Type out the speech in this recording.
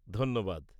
ধন্যবাদ!